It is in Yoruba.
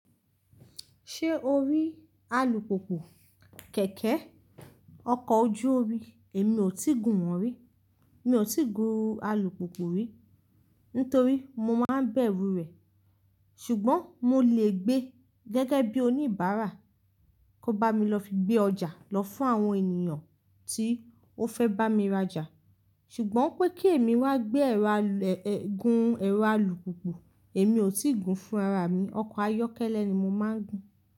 Ṣé o rí alùpùpù kẹ̀kẹ́? Ọkọ̀ ójú ómi, èmi ò tíì gùn wọ́n rí. Mi ò tí gùn alùpùpù rí, nítorí mo máa ń bẹ̀rú rẹ̀. Ṣùgbọ́n mo lè gbé gẹ́gẹ́ bí oníbàárà. Kó bá mi lọ fi gbé ọjà lọ fún àwọn ènìyàn tí ó fẹ́ bá mi rajà. Ṣùgbọ́n pé kí èmi wá gbé ẹ̀rọ alù-- e, gùn ẹ̀rọ alùpùpù, èmi ò tíì gùn fún rára mí. Ọkọ̀ ayọ́kẹ́lẹ́ ni mo máa ń gun.